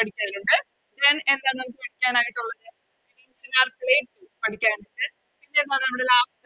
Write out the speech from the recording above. പഠിക്കാനിണ്ട് Then എന്താണ് പഠിക്കാനായിട്ടുള്ളത് പഠിക്കാനുണ്ട് പിന്നെന്താണ്